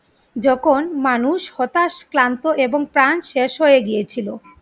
যখন মানুষ হতাশ, ক্লান্ত এবং ত্রাণ শেষ হয়ে গিয়েছিলো